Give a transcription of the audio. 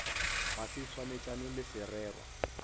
ga se swanetšane le sererwa